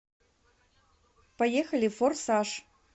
поехали форсаж